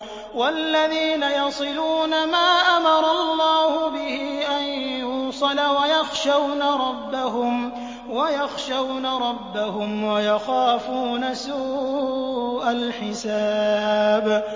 وَالَّذِينَ يَصِلُونَ مَا أَمَرَ اللَّهُ بِهِ أَن يُوصَلَ وَيَخْشَوْنَ رَبَّهُمْ وَيَخَافُونَ سُوءَ الْحِسَابِ